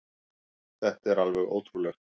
Þetta er alveg ótrúlegt.